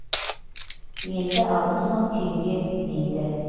енді алпыс мың теңге дейді